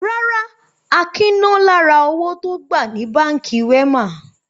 Rárá, Akin ná lára owó tó gbà ní Báńkì Wema.